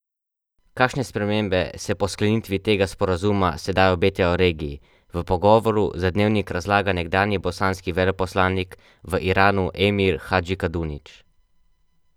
Kakšne spremembe se po sklenitvi tega sporazuma sedaj obetajo regiji, v pogovoru za Dnevnik razlaga nekdanji bosanski veleposlanik v Iranu Emir Hadžikadunić.